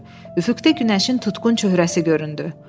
Üfüqdə günəşin tutqun çöhrəsi göründü.